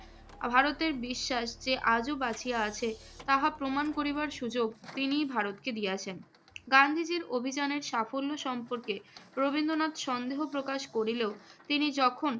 ভারতের বিশ্বাস যে, আজও বাঁচিয়া আছে তাহা প্রমাণ করিবার সুযোগ তিনিই ভারতকে দিয়াছেন। গান্ধীজীর অভিযানের সাফল্য সম্পর্কে রবীন্দ্রনাথ সন্দেহ প্রকাশ করিলেও তিনি যখন